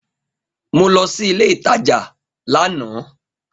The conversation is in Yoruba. Mo lo sí ilé ìtajà láàná